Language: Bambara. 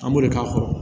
An b'o de k'a kɔrɔ